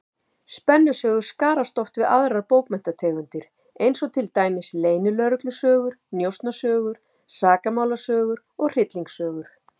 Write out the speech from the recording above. Spennusögur skarast oft við aðrar bókmenntategundir, eins og til dæmis leynilögreglusögur, njósnasögur, sakamálasögur og hryllingssögur.